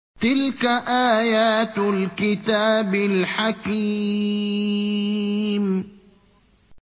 تِلْكَ آيَاتُ الْكِتَابِ الْحَكِيمِ